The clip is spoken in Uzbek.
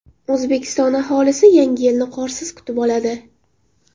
O‘zbekiston aholisi Yangi yilni qorsiz kutib oladi.